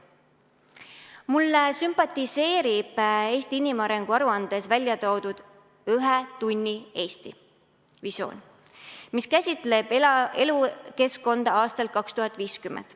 Mulle sümpatiseerib Eesti inimarengu aruandes välja toodud ühe tunni Eesti visioon, mis käsitleb elukeskkonda aastal 2050.